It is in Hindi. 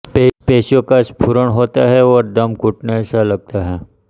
पेशियों का स्फुरण होता है और दम घुटने सा लगता है